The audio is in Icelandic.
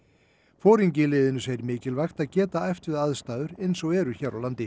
foringi í liðinu segir mikilvægt að geta æft við aðstæður eins og eru hér á landi